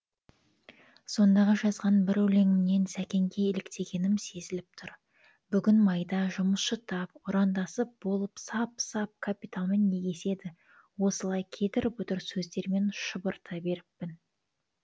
сондағы жазған бір өлеңімнен сәкенге еліктегенім сезіліп тұр бүгін майда жұмысшы тап ұрандасып болып сап сап капиталмен егеседі осылай кедір бұдыр сөздермен шұбырта беріппін